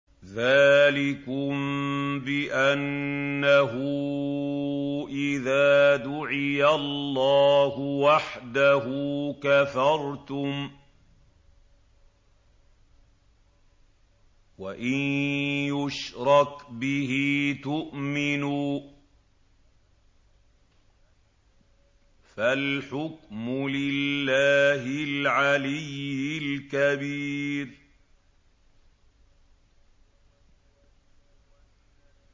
ذَٰلِكُم بِأَنَّهُ إِذَا دُعِيَ اللَّهُ وَحْدَهُ كَفَرْتُمْ ۖ وَإِن يُشْرَكْ بِهِ تُؤْمِنُوا ۚ فَالْحُكْمُ لِلَّهِ الْعَلِيِّ الْكَبِيرِ